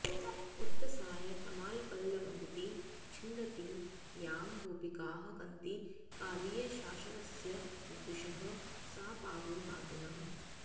उत्तंसाय तमालपल्लवमिति छिन्दन्ति यां गोपिकाः कन्तिः कालियशासनस्य वपुषः सा पावनी पातु नः